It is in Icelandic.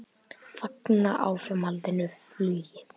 Fagna áframhaldandi flugi